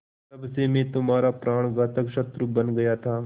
तब से मैं तुम्हारा प्राणघातक शत्रु बन गया था